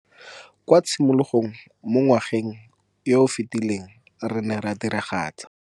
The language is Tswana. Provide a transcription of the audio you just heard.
Kwa tshimologong mo ngwageng yo o fetileng re ne ra diragatsa.